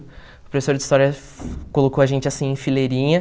O professor de história colocou a gente, assim, em fileirinha.